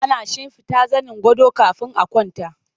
Ana shimfiɗa zanin gado kafin a kwanta